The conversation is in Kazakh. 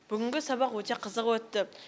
бүгінгі сабақ өте қызық өтті